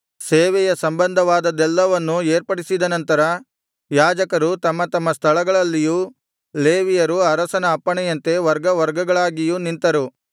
ಸೇವೆಯ ಸಂಬಂಧವಾದದ್ದೆಲ್ಲವನ್ನೂ ಏರ್ಪಡಿಸಿದನಂತರ ಯಾಜಕರು ತಮ್ಮ ತಮ್ಮ ಸ್ಥಳಗಳಲ್ಲಿಯೂ ಲೇವಿಯರು ಅರಸನ ಅಪ್ಪಣೆಯಂತೆ ವರ್ಗವರ್ಗಗಳಾಗಿಯೂ ನಿಂತರು